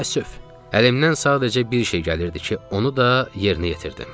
Təəssüf, əlimdən sadəcə bir şey gəlirdi ki, onu da yerinə yetirdim.